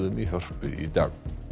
í Hörpu í dag